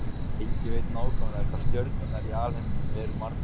Enginn veit nákvæmlega hvað stjörnurnar í alheiminum eru margar.